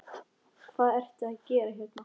Hvað ertu að gera hérna?